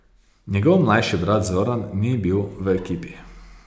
Njegov mlajši brat Zoran ni bil v ekipi.